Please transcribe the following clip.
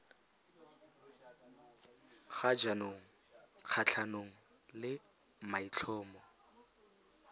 ga jaanong kgatlhanong le maitlhomo